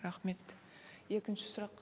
рахмет екінші сұрақ